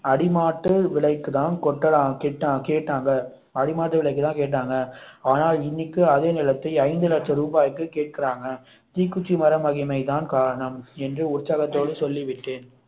அடிமாட்டு விலைக்கு தான் கொட்ட~ கேட்டா~ கேட்டாங்க ஆனா இன்னைக்கு அதே நிலத்தை ஐந்து லட்ச ரூபாய்க்கு கேட்கிறார்கள் தீக்குச்சி மர மகிமை தான் காரணம் என உற்சாகத்தோடு சொல்லிவிட்டேன்